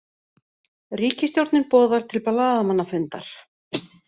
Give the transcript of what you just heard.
Ríkisstjórnin boðar til blaðamannafundar